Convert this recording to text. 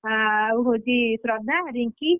ତମେ ମୁଁ ଆଉ ହଉଛି ଶ୍ରଦ୍ଧା ରିଙ୍କି।